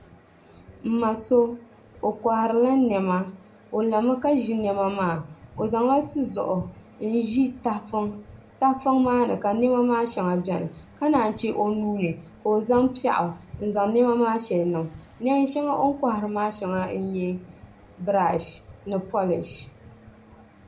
N ma so o koharila niɛma o lami ka ʒi niɛma maa o zaŋla tizuɣu n ʒi tahapoŋ tahapoŋ maa ni ka niɛma maa shɛŋa biɛni ka naan chɛ o nuuni ka o zaŋ piɛɣu n zaŋ niɛma maa shɛli niŋ neen shɛŋa o ni kohari maa shɛŋa n nyɛ birash ni polish